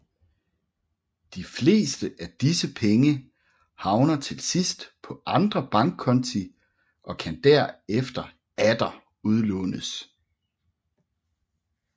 De fleste af disse penge havner til sidst på andre bankkonti og kan derefter atter udlånes